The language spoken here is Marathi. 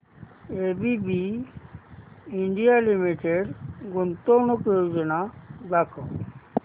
एबीबी इंडिया लिमिटेड गुंतवणूक योजना दाखव